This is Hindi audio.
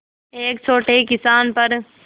एक छोटे किसान पर